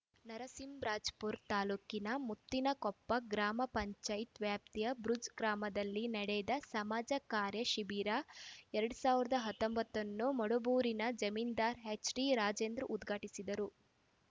ನರಸಿಂಹರಾಜಪುರ ತಾಲೂಕಿನ ಮುತ್ತಿನಕೊಪ್ಪ ಗ್ರಾಪಂ ವ್ಯಾಪ್ತಿಯ ಬುರ್ಜ್ ಗ್ರಾಮದಲ್ಲಿ ನಡೆದ ಸಮಾಜ ಕಾರ್ಯ ಶಿಬಿರ ಎರಡ್ ಸಾವಿರದ ಹತ್ತೊಂಬತ್ತ ನ್ನು ಮಡಬೂರಿನ ಜಮೀನ್ದಾರ್‌ ಎಚ್‌ಟಿ ರಾಜೇಂದ್ರ ಉದ್ಘಾಟಿಸಿದರು